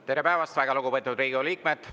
Tere päevast, väga lugupeetud Riigikogu liikmed!